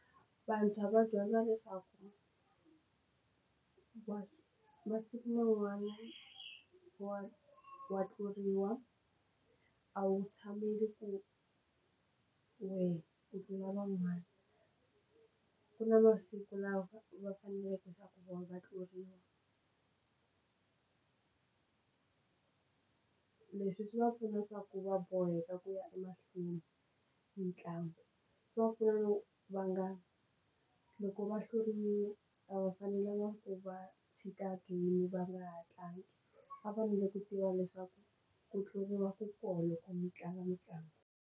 Vantshwa va dyondza leswaku masiku man'wana wa wa tluriwa a wu tshameli ku wehe u tlula van'wana ku na masiku lava va faneleke ku va tluriwi leswi swi va pfuna ku va boheka ku ya emahlweni hi ntlangu va pfuna va nga loko va hluriwile a va fanelanga ku va tshika game va nga ha tlangi va fanele ku tiva leswaku ku tluriwa ku kona loko mi tlanga mitlangu.